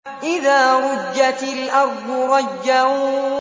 إِذَا رُجَّتِ الْأَرْضُ رَجًّا